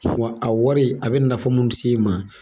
Wa a wari a bɛ nafa munnu s'i ma.